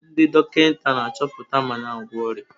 Ndị dọkịta na-achọpụta ma na-agwọ ọrịa.